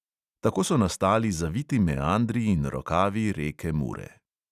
Tako so nastali zaviti meandri in rokavi reke mure.